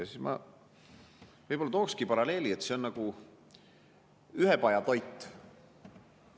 Ma tooksin paralleeli, et see on nagu ühepajatoit.